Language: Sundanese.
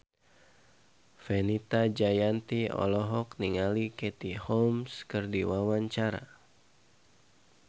Fenita Jayanti olohok ningali Katie Holmes keur diwawancara